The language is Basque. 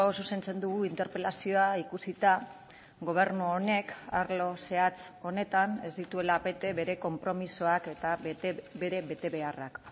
zuzentzen dugu interpelazioa ikusita gobernu honek arlo zehatz honetan ez dituela bete bere konpromisoak eta bere betebeharrak